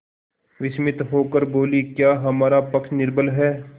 विस्मित होकर बोलीक्या हमारा पक्ष निर्बल है